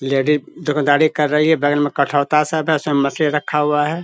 Ladies दोकानदारी कर रही है। बगल में कठौता सब है सब मशीन रखा हुआ है।